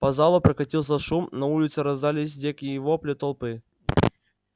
по залу прокатился шум на улице раздались дикие вопли толпы